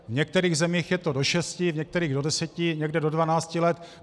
V některých zemích je to do šesti, v některých do deseti, někde do dvanácti let.